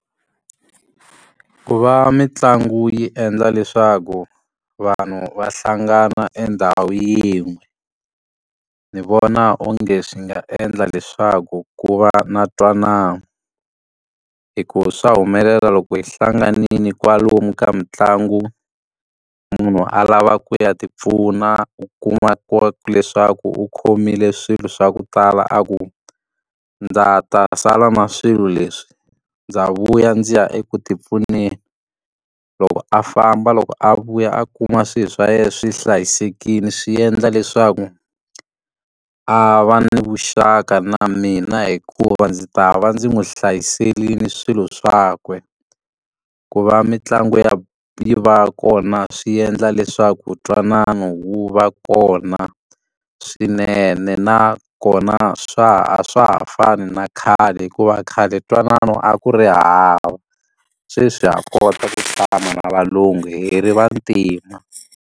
Ku va mitlangu yi endla leswaku vanhu va hlangana endhawu yin'we, ni vona onge swi nga endla leswaku ku va na ntwanano. Hikuva swa humelela loko hi hlanganile kwalomu ka mitlangu, munhu a lava ku ya tipfuna u kuma leswaku u khomile swilo swa ku tala a ku, ndza ta, sala na swilo leswi ndza vuya ndzi ya eku tipfuneni. Loko a famba loko a vuya a kuma swilo swa yena swi hlayisekile swi endla leswaku a va ni vuxaka na mina hikuva ndzi ta va ndzi n'wi hlayisekini swilo swakwe. Ku va mitlangu ya yi va kona swi endla leswaku ntwanano wu va kona swinene, nakona swa ha a swa ha fani na khale hikuva khale ntwanano a ku ri hava. Sweswi ha kota ku fana na valungu hi ri vantima.